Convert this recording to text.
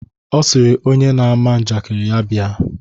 Ọ sịrị onye na-ama njakịrị ya bịa.